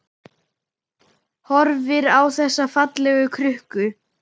Horfir á þessa fallegu krukku.